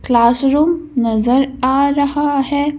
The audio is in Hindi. क्लास रूम नजर आ रहा है।